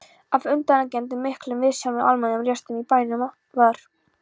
Að undangengnum miklum viðsjám og almennum róstum í bænum var